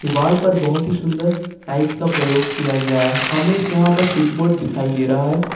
दीवार पर बहुत ही सुंदर टाइल्स का प्रयोग किया गया है हमें यहां पे स्विच बोर्ड दिखाई दे रहा है।